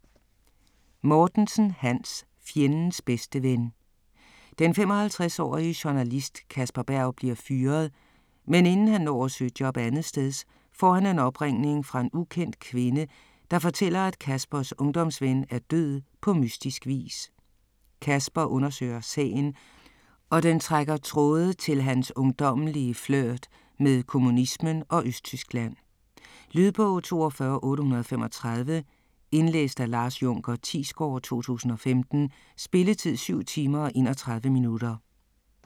Mortensen, Hans: Fjendens bedste ven Den 55-årige journalist Kasper Berg bliver fyret, men inden han når at søge job andetsteds får han en opringning fra en ukendt kvinde, der fortæller at Kaspers ungdomsven er død på mystisk vis. Kasper undersøger sagen og den trækker tråde til hans ungdommelige flirt med kommunismen og Østtyskland. Lydbog 42835 Indlæst af Lars Junker Thiesgaard, 2015. Spilletid: 7 timer, 31 minutter.